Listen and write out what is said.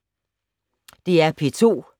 DR P2